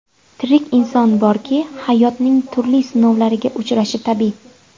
Tirik inson borki, hayotning turli sinovlariga uchrashi tabiiy.